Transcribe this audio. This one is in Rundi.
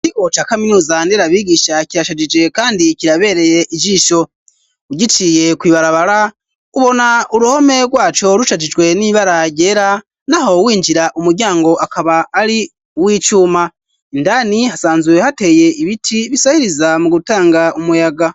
Ikigo ca kaminuza nderabigisha kirashagije kandi kirabereye ijisho ugiciye kuibarabara ubona uruhome rwaco rushagijwe n'ibara ryera n'aho winjira umuryango akaba ari w'icuma indani hasanzuwe hateye ibiti bisahiriza mu gutanga umuyaga.